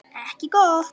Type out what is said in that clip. Ekki gott.